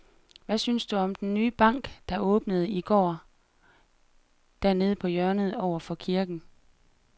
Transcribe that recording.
Hvad synes du om den nye bank, der åbnede i går dernede på hjørnet over for kirken?